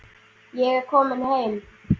Ég er kominn heim.